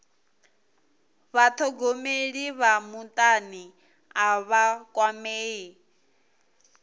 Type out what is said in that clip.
vhathogomeli vha mutani a vha kwamei